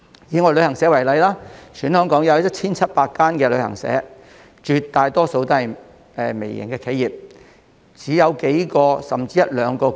以旅行社為例，香港有 1,700 間旅行社，當中大部分也是微型企業，只有數名甚至一兩名僱員。